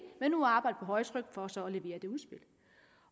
men nu arbejder vi på højtryk for så at levere det udspil